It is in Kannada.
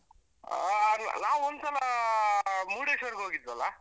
ಆಹ್ ನಾವು ಒಂದು ಸಲ ಮುರುಡೇಶ್ವರಕ್ಕೆ ಹೋಗಿದ್ವಲ್ಲ?